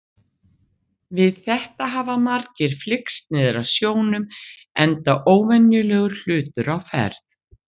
Við þetta hafa margir flykkst niður að sjónum enda óvenjulegur hlutur á ferð.